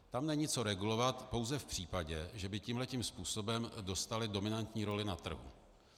Tam není co regulovat - pouze v případě, že by tímhle tím způsobem dostali dominantní roli na trhu.